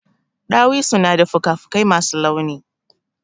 Ɗawisu na da fuka fuƙai masu launi.